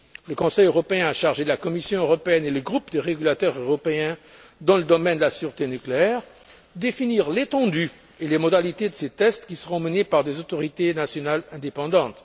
Le Conseil européen a chargé la Commission européenne et le groupe des régulateurs européens dans le domaine de la sûreté nucléaire de définir l'étendue et les modalités de ces tests, qui seront menés par des autorités nationales indépendantes.